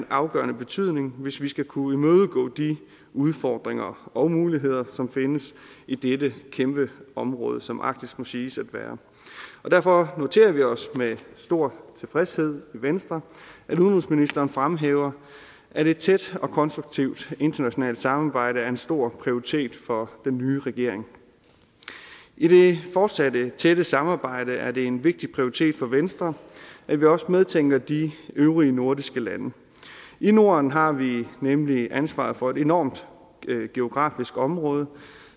afgørende betydning hvis vi skal kunne imødegå de udfordringer og muligheder som findes i dette kæmpe område som arktis må siges at være derfor noterer vi os med stor tilfredshed i venstre at udenrigsministeren fremhæver at et tæt og konstruktivt internationalt samarbejde er en stor prioritet for den nye regering i det fortsatte tætte samarbejde er det en vigtig prioritet for venstre at vi også medtænker de øvrige nordiske lande i norden har vi nemlig ansvaret for et enormt geografisk område